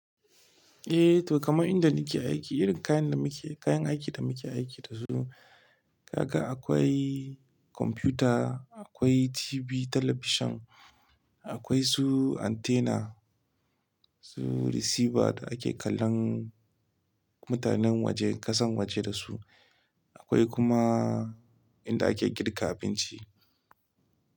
Eh to kamar inda nake aiki irin kayan da muke, kayan aiki da muke aiki da su, haka akwai kwamfuta, akwai TV talabishin, akwai su antenna, su receiver da ake kallon mutanen waje, ƙasan waje da su, akwai kuma inda ake girka abinci.